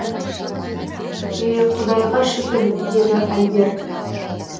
е құдайға шүкір деді альбер